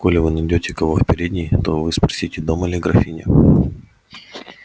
коли вы найдёте кого в передней то вы спросите дома ли графиня